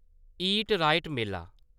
ईट right मेला